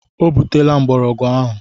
O butela mgbọrọgwụ ahụ.